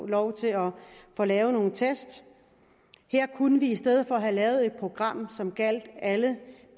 lov til at få lavet en test her kunne vi i stedet for have lavet et program som gjaldt alle